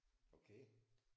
Okay